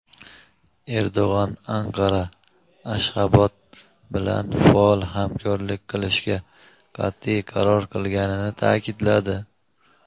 Erdo‘g‘an Anqara Ashxabod bilan faol hamkorlik qilishga qat’iy qaror qilganini ta’kidladi.